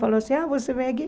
Falou assim, ah, você vem aqui?